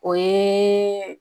O ye